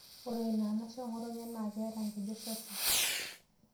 Ore ina anashe eng'otonye naa keeta nkejek sasin.